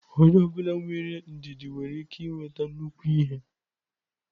Onye ọ bụla nwere ndidi nwere ike nweta nnukwu ihe.